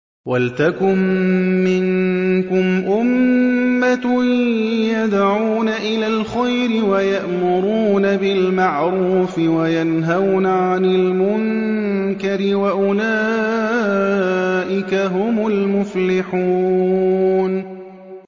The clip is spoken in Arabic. وَلْتَكُن مِّنكُمْ أُمَّةٌ يَدْعُونَ إِلَى الْخَيْرِ وَيَأْمُرُونَ بِالْمَعْرُوفِ وَيَنْهَوْنَ عَنِ الْمُنكَرِ ۚ وَأُولَٰئِكَ هُمُ الْمُفْلِحُونَ